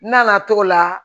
N nana t'o la